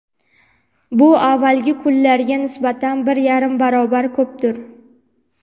Bu avvalgi kunlarga nisbatan bir yarim barobar ko‘pdir.